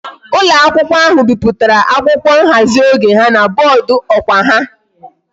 Ulo akwukwo ahu biputara akwukwo nhazi oge ha na boodu okwa ha